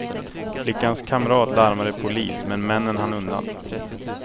Flickans kamrat larmade polis, men männen hann undan.